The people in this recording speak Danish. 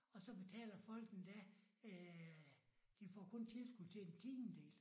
Og så betaler folk endda æh de får kun tilskud til en tiendedel